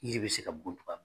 Yiri be se ka bɔntuba